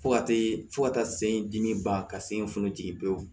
Fo ka taa se fo ka taa se dimi ban ka se funu jigin pewu